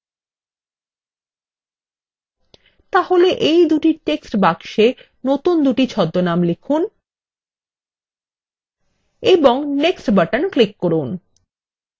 তাহলে এই দুই টেক্সট বাক্সে নতুন দুটি ছদ্মনাম লিখুন এবং next বাটন ক্লিক করুন